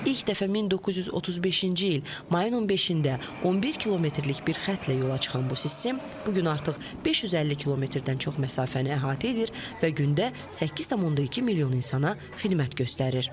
İlk dəfə 1935-ci il mayın 15-də 11 kilometrlik bir xəttlə yola çıxan bu sistem bu gün artıq 550 kilometrdən çox məsafəni əhatə edir və gündə 8,2 milyon insana xidmət göstərir.